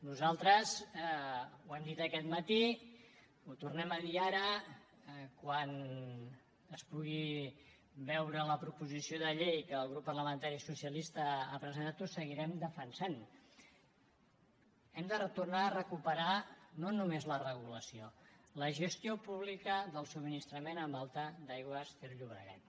nosaltres ho hem dit aquest matí ho tornem a dir ara quan es pugui veure la proposició de llei que el grup parlamentari socialista ha presentat ho seguirem defensant hem de retornar a recuperar no només la regulació la gestió pública del subministrament amb alta d’aigües ter llobregat